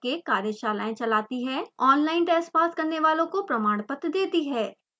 online test pass करने वालों को प्रमाणपत्र देती है